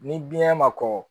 Ni biɲɛ ma kɔkɔ